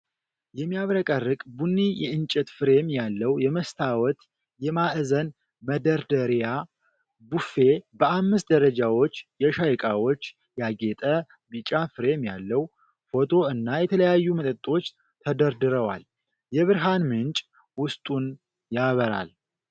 የሚያብረቀርቅ ቡኒ የእንጨት ፍሬም ያለው የመስታወት የማዕዘን መደርደሪያ ቡፌ፣ በአምስት ደረጃዎች የሻይ እቃዎች፣ ያጌጠ ቢጫ ፍሬም ያለው ፎቶ እና የተለያዩ መጠጦች ተደርድረዋል። የብርሃን ምንጭ ውስጡን ያበራል።